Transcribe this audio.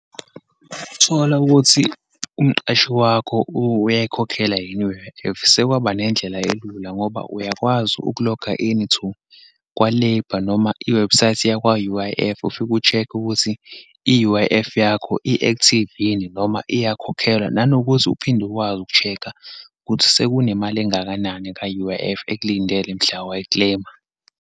Ukuthola ukuthi umqashi wakho uyayikhokhela yini i-U_I_F, sekwaba nendlela elula, ngoba uyakwazi uku-loga in to kwa-labour, noma iwebhusayithi yakwa u-U_I_F, ufike u-check-e ukuthi i-U_I_F yakho, i-active yini, noma iyakhokhelwa, nanokuthi uphinde ukwazi uku-check-a ukuthi sekunemali engakanani ka-U_I_F ekulindele mhla wayikleyima.